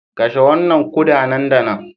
Kashe wannan kuda nan da nan